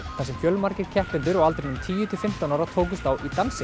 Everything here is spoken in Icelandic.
þar sem fjölmargir keppendur á aldrinum tíu til fimmtán ára tókust á í dansi